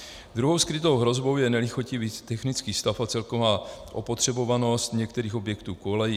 Druhou skrytou hrozbou je nelichotivý technický stav a celková opotřebovanost některých objektů kolejí.